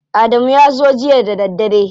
Adamu ya zo jiya da daddare.